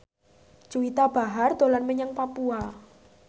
Juwita Bahar dolan menyang Papua